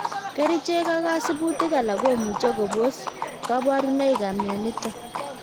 Kerichek ak kasibutik alak komuche kobos kabarunoik ab myonitok